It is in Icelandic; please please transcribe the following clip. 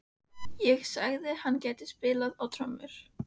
Ég sagði að hann gæti spilað á trommur.